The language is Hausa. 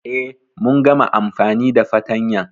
E, mun gama amfani da fatanyan.